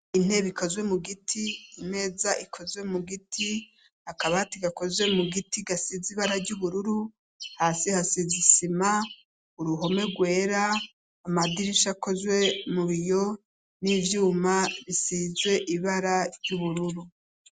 Intebe ikozwe mu giti, imeza ikozwe mu giti, akabati gakozwe mu giti gasize ibara ry'ubururu, hasi hasize isima, uruhome rwera, amadirisha akozwe mu biyo n'ivyuma bisize ibara ry'ubururu.